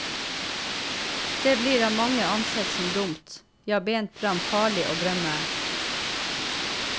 Det blir av mange ansett som dumt, ja, bent frem farlig å drømme.